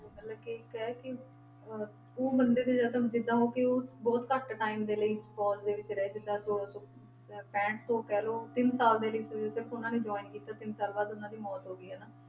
ਮਤਲਬ ਕਿ ਕਹਿ ਕਿ ਅਹ ਉਹ ਮੰਦਿਰ ਜਿੱਦਾਂ ਕਿ ਉਹ ਬਹੁਤ ਘੱਟ time ਦੇ ਲਈ ਫ਼ੌਜ਼ ਦੇ ਵਿੱਚ ਰਹੇ ਸੀ ਤਾਂ ਛੋਲਾਂ ਸੌ ਅਹ ਪੈਂਹਠ ਤੋਂ ਕਹਿ ਲਓ ਤਿੰਨ ਸਾਲ ਦੇ ਲਈ ਤੱਕ ਉਹਨਾਂ ਨੇ join ਕੀਤਾ ਤਿੰਨ ਸਾਲ ਬਾਅਦ ਉਹਨਾਂ ਦੀ ਮੌਤ ਹੋ ਗਈ ਹਨਾ,